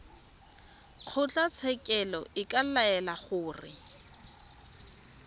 kgotlatshekelo e ka laela gore